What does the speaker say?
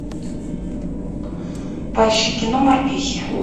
поищи кино морпехи